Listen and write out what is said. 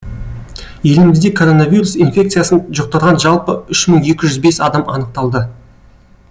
елімізде коронавирус инфекциясын жұқтырған жалпы үш мың екі жүз бес адам анықталды